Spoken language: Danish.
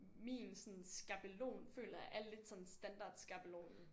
Min sådan skabelon føler jeg er lidt sådan standard skabelonen